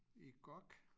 I GOG